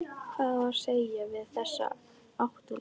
Hvað á að segja við þessi átta lið?